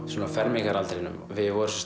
um fermingaraldur við vorum